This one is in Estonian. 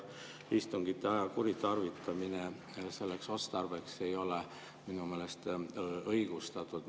Istungite aja kuritarvitamine selleks otstarbeks ei ole minu meelest õigustatud.